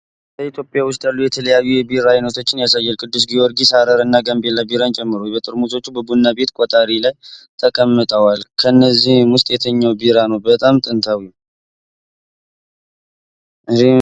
በኢትዮጵያ ውስጥ ያሉ የተለያዩ የቢራ ዓይነቶችን ያሳያል፤ ቅዱስ ጊዮርጊስ፣ ሃረር እና ጋምቤላ ቢራን ጨምሮ። ጠርሙሶቹ በቡና ቤት ቆጣሪ ላይ ተቀምጠዋል። ከእነዚህ ውስጥ የትኛው ቢራ ነው በጣም ጥንታዊው?